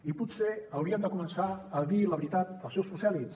i potser hauríem de començar a dir la veritat als seus prosèlits